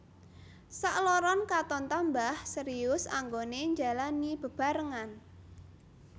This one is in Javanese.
Sakloron katon tambah serius anggoné njalani bebarengan